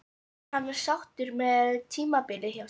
Er hann sáttur með tímabilið hjá sér?